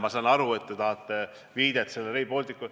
Ma saan aru, et te tahate viidet Rail Balticule.